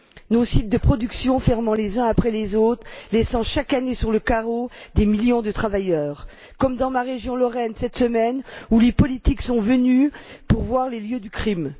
Nos sites de production ferment les uns après les autres, laissant chaque année sur le carreau des millions de travailleurs, comme dans ma région, la Lorraine, cette semaine, où les politiques sont venus voir les lieux du crime.